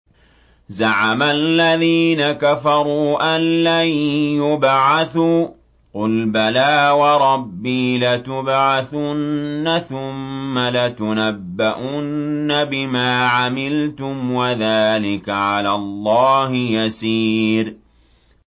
زَعَمَ الَّذِينَ كَفَرُوا أَن لَّن يُبْعَثُوا ۚ قُلْ بَلَىٰ وَرَبِّي لَتُبْعَثُنَّ ثُمَّ لَتُنَبَّؤُنَّ بِمَا عَمِلْتُمْ ۚ وَذَٰلِكَ عَلَى اللَّهِ يَسِيرٌ